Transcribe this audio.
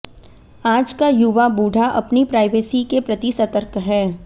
आज का युवा बूढ़ा अपनी प्राइवेसी के प्रति सतर्क है